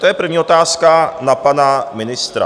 To je první otázka na pana ministra.